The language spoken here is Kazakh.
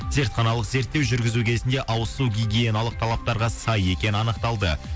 зертханалық зерттеу жүргізу кезінде ауыз су гигиеналық талаптарға сай екені анықталды